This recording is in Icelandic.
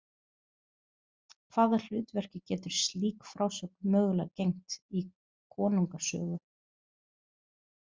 Hvaða hlutverki getur slík frásögn mögulega gegnt í konungasögu?